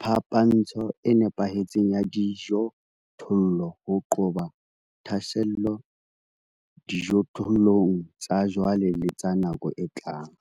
phapantsho e nepahetseng ya dijothollo ho qoba tlhaselo dijothollong tsa jwale le tsa nako e tlang.